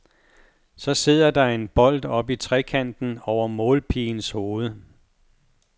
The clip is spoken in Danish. Så sidder der en bold i oppe trekanten over målpigens hoved.